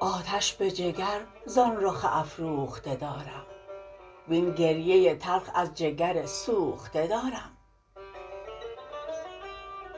آتش به جگر زان رخ افروخته دارم وین گریه تلخ از جگر سوخته دارم